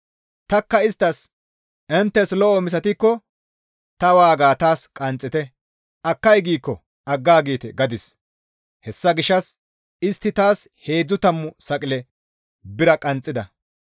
Tanikka isttas, «Inttes lo7o misatikko ta waaga taas qanxxite; akkay giikko aggaagite» gadis; hessa gishshas istti taas heedzdzu tammu saqile bira qanxxida.